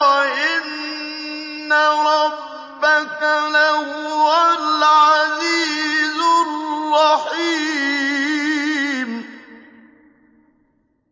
وَإِنَّ رَبَّكَ لَهُوَ الْعَزِيزُ الرَّحِيمُ